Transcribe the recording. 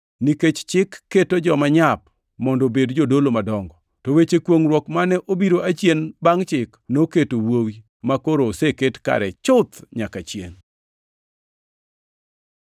Nikech chik keto joma nyap mondo obed jodolo madongo, to weche kwongʼruok mane obiro achien bangʼ chik, noketo Wuowi, makoro oseket kare chuth nyaka chiengʼ.